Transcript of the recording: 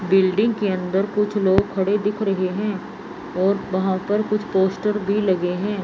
Building के अंदर कुछ लोग खड़े दिख रहे हैं और वहां पर कुछ पोस्टर भी लगे हैं।